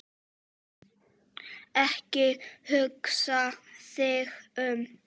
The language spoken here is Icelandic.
Ekki hugsa þig um.